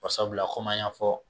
Barisabula komi an y'a fɔ